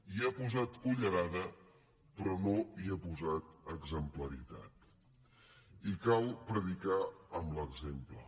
hi ha posat cullerada però no hi ha posat exemplaritat i cal predicar amb l’exemple